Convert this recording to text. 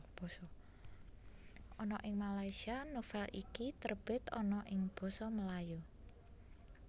Ana ing Malaysia novel iki terbit ana ing basa Melayu